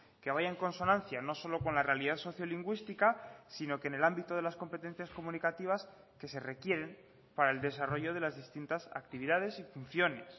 que vaya en consonancia no solo con la realidad sociolingüística sino que en el ámbito de las competencias comunicativas que se requieren para el desarrollo de las distintas actividades y funciones